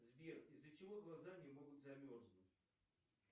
сбер из за чего глаза не могут замерзнуть